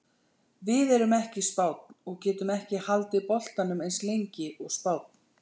Við erum ekki Spánn og getum ekki haldið boltanum eins lengi og Spánn.